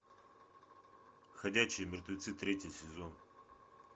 ходячие мертвецы третий сезон